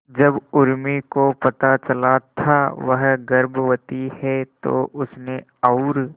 जब उर्मी को पता चला था वह गर्भवती है तो उसने और